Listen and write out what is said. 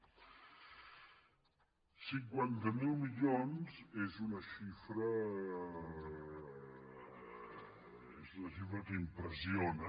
cinquanta mil milions és una xifra que impressiona